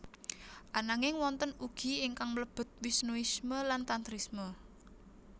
Ananging wonten ugi ingkang mlebet Wisnuisme lan Tantrisme